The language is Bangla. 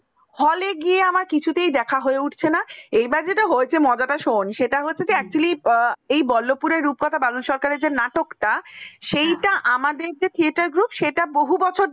হলে গিয়ে আমার কিছুতেই দেখা উঠছে না এবার যেটা হয়েছে মজাটা শোন সেটা হচ্ছে actually এই বল্লভপুরের রূপকথা বাদল সরকার যে নাটকটা হ্যাঁ সেইটা আমাদের যে theater group সেটা বহু বছর ধরে